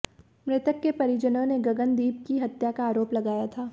मृतक के परिजनों ने गगनदीप की हत्या का आरोप लगाया था